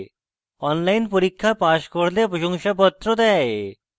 online পরীক্ষা pass করলে প্রশংসাপত্র দেয়